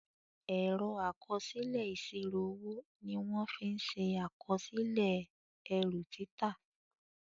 Ẹ̀rọ àkọsílẹ̀ ìsírò owó ní wón fín ṣe àkọsílẹ̀ erù títà.